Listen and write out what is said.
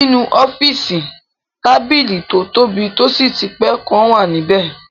Nínú ọ́fìsì, tábìlì tó tóbi tó sì ti pé kan wà níbẹ